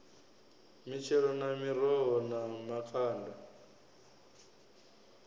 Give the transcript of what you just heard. mitshelo na miroho na makanda